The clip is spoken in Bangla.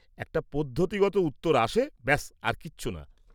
একটা পদ্ধতিগত উত্তর আসে, ব্যাস আর কিছু না।